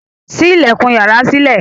sí ilẹkùn iyàrá sílẹ